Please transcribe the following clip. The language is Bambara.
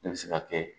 Ne bɛ se ka kɛ